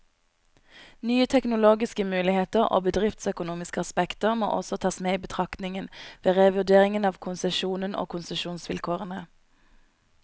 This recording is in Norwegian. Nye teknologiske muligheter og bedriftsøkonomiske aspekter må også tas med i betraktningen, ved revurdering av konsesjonen og konsesjonsvilkårene.